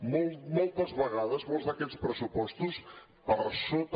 moltes vegades molts d’aquests pressupostos per sota